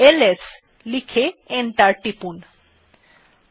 LS লিখে enter টিপলাম